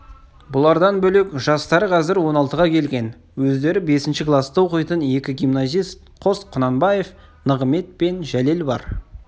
бұлардан бөлек жастары қазір он алтыға келген өздері бесінші класта оқитын екі гимназист қос құнанбаев нығымет жәлел бар